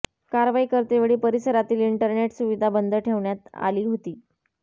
कारवाई करतेवेळी परिसरातील इंटरनेट सुविधा बंद ठेवण्यात आली होती